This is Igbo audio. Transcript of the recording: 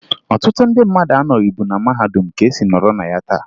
Ọtụtụ ndị mmadụ anọbughi na mahadum ka e si nọrọ na ya taa